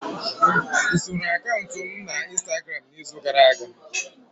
Soro akaụntụ m na Instagramu n'izu gara aga?